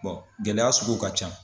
gɛlɛya suguw ka can.